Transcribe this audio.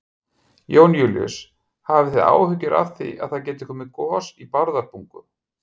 Jón Júlíus: Hafi þið áhyggjur af því að það gæti komið gos í Bárðarbungu?